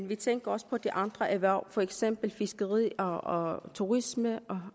vi tænker også på de andre erhverv for eksempel fiskeri og turisme